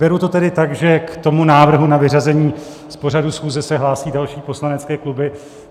Beru to tedy tak, že k tomu návrhu na vyřazení z pořadu schůze se hlásí další poslanecké kluby.